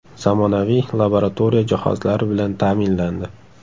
Zamonaviy laboratoriya jihozlari bilan ta’minlandi.